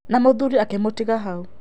Na mũthuri akĩmũtiga hau.